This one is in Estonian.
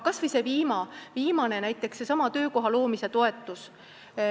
Kas või seesama töökoha loomise toetus.